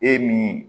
E min